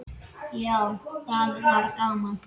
Já, það var gaman!